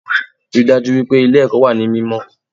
Ríi dájú wípé Ilé èkó wà ní mímó